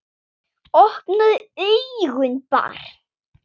Opnaðu augun barn!